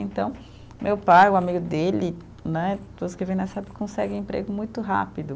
Então, meu pai, o amigo dele né, todos que vêm nessa época conseguem emprego muito rápido.